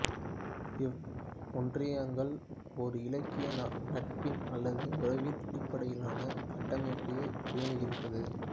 இவ் ஒன்றியங்கள் ஒரு இலகிய நட்பின் அல்லது உறவின் அடிப்படையிலான கட்டமைப்பையே பேணுகின்றன